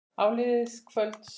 Áliðið kvölds.